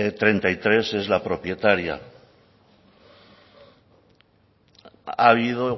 treinta y tres es la propietaria ha habido